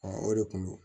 o de kun do